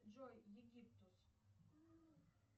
джой египтус